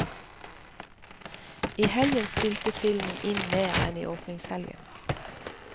I helgen spilte filmen inn mer enn i åpningshelgen.